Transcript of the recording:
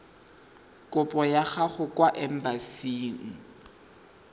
kopo ya gago kwa embasing